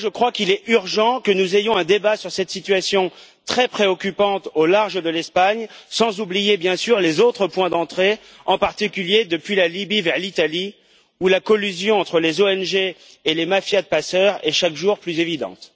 pourquoi je crois qu'il est urgent que nous ayons un débat sur cette situation très préoccupante au large de l'Espagne, sans oublier bien sûr les autres points d'entrée, en particulier depuis la Libye vers l'Italie, où la collusion entre les ONG et les mafias de passeurs est chaque jour plus évidente.